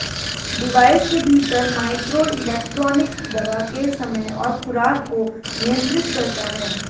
device के भीतर microelectronics दवा के समय और खुराक को नियंत्रित करता है